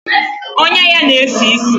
Ọnyá ya na-esi ísì.